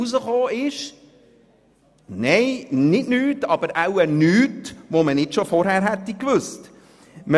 Herausgekommen ist zwar nicht nichts, aber wohl nichts, das man nicht vorher schon gewusst hat.